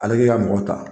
Ale k'i ka mɔgɔ ta